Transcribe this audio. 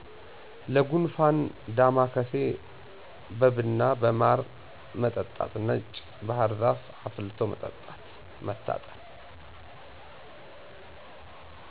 ለጉንፍን ዳማከሴ በብና በማር መጠጣት ነጭ ባህርዛፍ አፍልቶ መታጠን